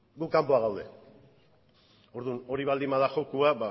guk kanpoan gaude orduan hori baldin bada jokoa